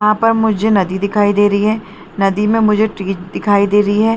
यहाँ पर मुझे नदी दिखाई दे रही है नदी में मुझे टीज दिखाई दे रही है।